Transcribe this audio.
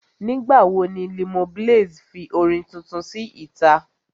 Nígbà wo ni Limoblaze fi orin tuntun sí ìta?